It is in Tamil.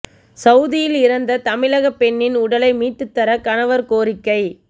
சவூதியில் இறந்த தமிழக பெண்ணின் உடலை மீட்டுத் தர கணவர் கோரிக்கை